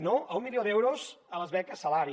no a un milió d’euros a les beques salari